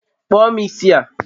kpụọ m isi a